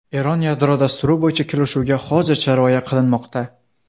Eron yadro dasturi bo‘yicha kelishuvga hozircha rioya qilinmoqda.